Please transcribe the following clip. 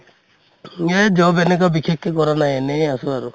এই job এনেকা বিশেষকে কৰা নাই, এনেই আছো আৰু